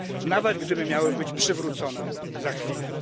nawet gdyby miały być przywrócone za chwilę.